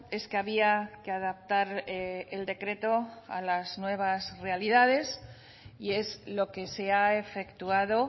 es que había que adaptar el decreto a las nuevas realidades y es lo que se ha efectuado